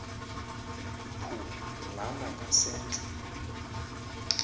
phu lana ngasentl